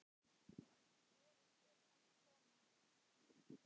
Voruð þið að koma?